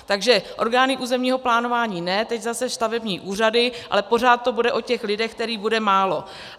Takže orgány územního plánování ne, teď zase stavební úřady, ale pořád to bude o těch lidech, kterých bude málo.